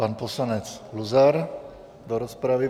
Pan poslanec Luzar do rozpravy.